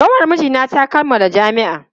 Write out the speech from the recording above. Kanwar mijina ta kammala jami'a.